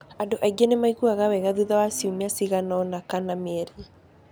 Andũ aingĩ nĩ maiguaga wega thutha wa ciumia ciganoina kana mieri.